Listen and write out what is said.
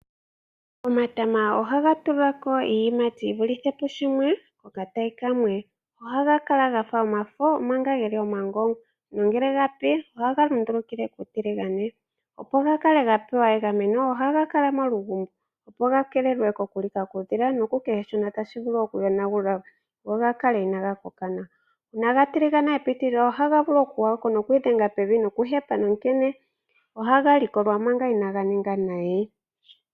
Omatama ohaga tulako iiyimati yivulithe pushimwe kokatayi kamwe. Ohaga kala gafa omafo omanga geli omagongwa nangele ogapi ohaga lundulukile kuutiligane. Opo gakale gapewa egameno ohagakala molugumbo opo gakeelelwe kokulika kuudhila nokukehe shono tashivulu okuyonagula go gakale inagakoka nawa. Uuna gatiligana epitilila ohaga vulu okugwako noku odhenga pevi nokuhepe onkene ohaga likolwa manga inaganinga nayi.